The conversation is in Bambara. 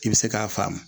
I bɛ se k'a faamu